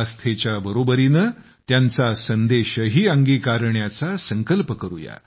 आस्थेच्या बरोबरीने त्यांचा संदेशही अंगीकारण्याचा संकल्प करूया